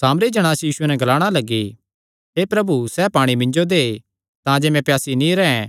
सामरी जणांस यीशुये नैं ग्लाणा लग्गी हे प्रभु सैह़ पाणी मिन्जो दे तांजे मैं प्यासी नीं रैंह्